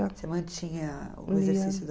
Você mantinha o exercício da